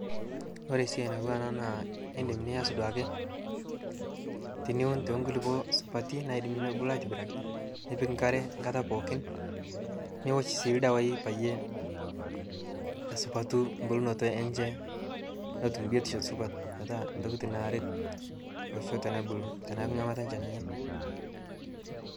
kore siai natuwa anaa naa indim niaz duake tiniun te nkulipo supati naidim nebulu aitibiraki nipik nkare nkata pookin niwosh sii ldawai peiye esupatu mbulnoto enshe notum biotisho supat petaa ntokitin naaret losho tenebulu tanaaku nghamata enshe nanyai